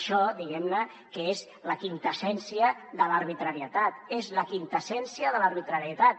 això diguem ne és la quinta essència de l’arbitrarietat és la quinta essència de l’arbitrarietat